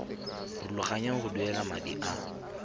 rulaganya go duela madi a